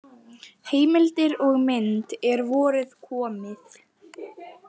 Heimildir og mynd: Er vorið komið?